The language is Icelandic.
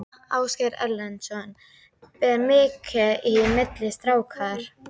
Ásgeir Erlendsson: Ber mikið í milli strákar?